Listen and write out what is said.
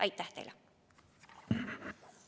Aitäh teile!